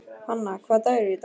Hanna, hvaða dagur er í dag?